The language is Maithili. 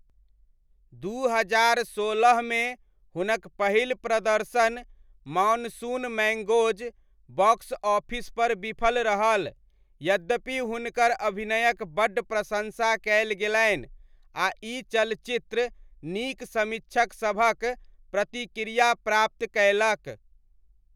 दू हजार सोलहमे हुनक पहिल प्रदर्शन, मानसून मैङ्गोज़, बॉक्स ऑफिसपर विफल रहल, यद्यपि हुनकर अभिनयक बड्ड प्रशंसा कयल गेलनि आ ई चलचित्र नीक समीक्षकसभक प्रतिक्रिया प्राप्त कयलक।